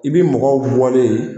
I bɛ mɔgɔw bɔlen ye.